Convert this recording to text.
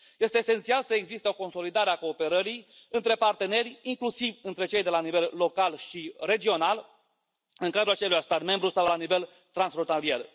Este esențial să existe o consolidare a cooperării între parteneri, inclusiv între cei de la nivel local și regional, în cadrul aceluiași stat membru sau la nivel transfrontalier.